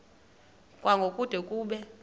kwango kude kube